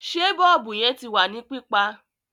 Sé bọ́ọ̀bù yẹn ti wà ní pípa?